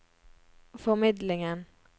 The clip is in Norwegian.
formidlingen